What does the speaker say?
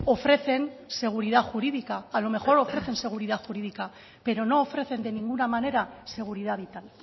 ofrecen seguridad jurídica a lo mejor ofrecen seguridad jurídica pero no ofrecen de ninguna manera seguridad vital